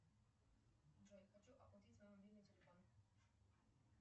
джой хочу оплатить свой мобильный телефон